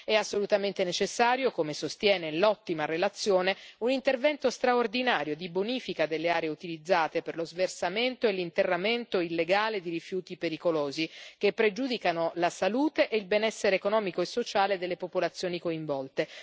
È assolutamente necessario, come sostiene l'ottima relazione, un intervento straordinario di bonifica delle aree utilizzate per lo sversamento e l'interramento illegale di rifiuti pericolosi, che pregiudicano la salute e il benessere economico e sociale delle popolazioni coinvolte.